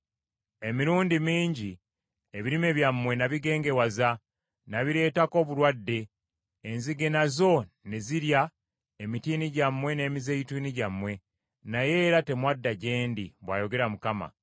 “Emirundi mingi ebirime byammwe n’ennimiro zammwe ez’emizabbibu na bigengewaza. Nabileetako obulwadde. Enzige nazo ne zirya emitiini gyammwe n’emizeeyituuni gyammwe, naye era temwadda gye ndi,” bw’ayogera Mukama .